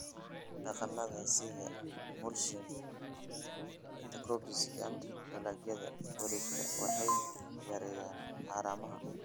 Dhaqannada sida mulching, intercropping & dalagga wareegtada waxay yareeyaan haramaha"